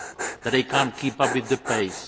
that they cannot keep up with the pace.